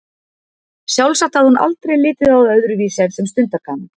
Sjálfsagt hafði hún aldrei litið á það öðruvísi en sem stundargaman.